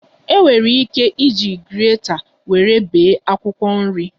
E nwere ike iji greta nwere bee akwụkwọ nri